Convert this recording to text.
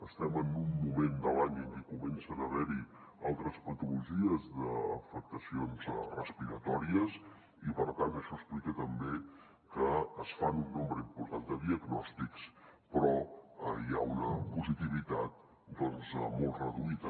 estem en un moment de l’any en què comencen a haver hi altres patologies d’afectacions respiratòries i per tant això explica també que es fan un nombre important de diagnòstics però hi ha una positivitat doncs molt reduïda